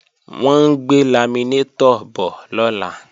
Wọ́n ń gbé laminétọ̀ bọ̀ lọ́la